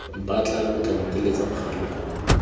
mpatla lo tla nteletsa mogala